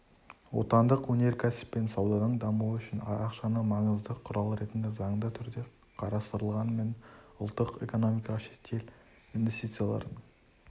отандық өнеркәсіп пен сауданың дамуы үшін ақшаны маңызды құрал ретінде заңды түрде қарастырғанымен ұлттық экономикаға шетел инвестицияларын